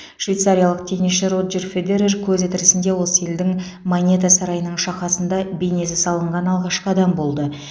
швейцариялық теннисші роджер федерер көзі тірісінде осы елдің монета сарайының шақасында бейнесі салынған алғашқы адам болды